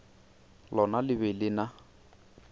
lona le be le na